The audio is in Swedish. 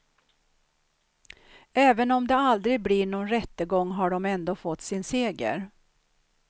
Även om det aldrig blir någon rättegång har de ändå fått sin seger.